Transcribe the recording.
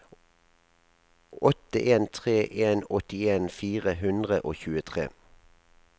åtte en tre en åttien fire hundre og tjuetre